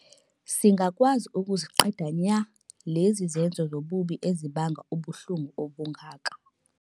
Singakwazi ukuziqeda nya lezi zenzo zobubi ezibanga ubuhlungu obungaka.